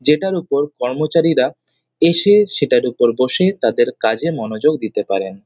যেটার উপর কর্মচারীরা এসে সেটার উপর বসে তাদের কাজে মনোযোগ দিতে পারেন।